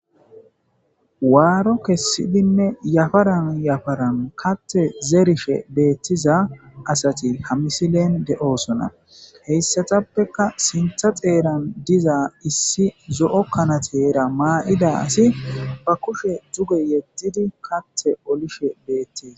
waaro kessidinne yafaran yafaran kathe zerishe beettiza asati ha misilen de'osona he asatappeka sintha xeeran diza issi zo'o kanateera ma'ida asi ba kushe dzuge yeddidi kathe olishe beettees